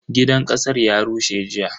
Gidan kasar ya rushe jiya.